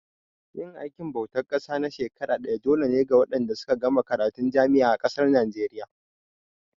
Yin aikin bautar ƙasa na shekara ɗaya dole ne ga waɗanda suka gama karatun jami'a a ƙasar Naijeriya.